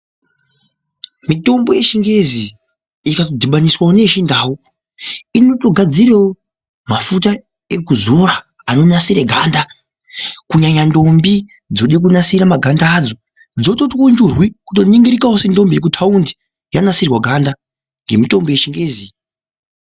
Mitombo yechingezi ikadhibaniswa neyechindau inotogadzirawo mafuta ekuzora anonasira ganda kunyanya ndombi dzoda kunasira maganda acho dzototiwo churwi kutoningirikawo sendombi yekutaundi yanasirwa ganda ngemutombo yechingezi.